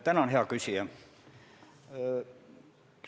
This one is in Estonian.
Tänan, hea küsija!